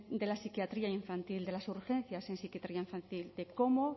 de la psiquiatría infantil de las urgencias en psiquiatría infantil de cómo